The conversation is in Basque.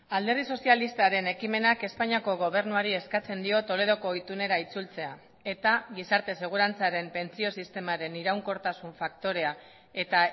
alderdi sozialistaren ekimenak espainiako gobernuari eskatzen dio toledoko itunera itzultzea eta gizarte segurantzaren pentsio sistemaren iraunkortasun faktorea eta